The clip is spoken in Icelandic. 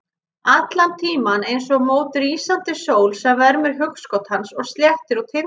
Allan tímann eins og mót rísandi sól sem vermir hugskot hans og sléttar út hindranir.